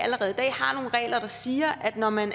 har nogle regler der siger at når man